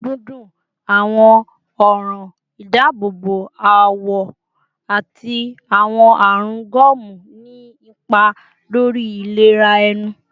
Eyin dundun, awọn ọran idaabobo awọ, ati awọn arun gomu ni ipa lori ilera ẹnu